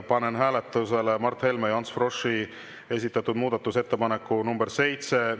Panen hääletusele Mart Helme ja Ants Froschi esitatud muudatusettepaneku nr 7.